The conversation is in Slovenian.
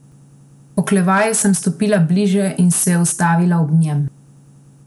Oklevaje sem stopila bliže in se ustavila ob njem.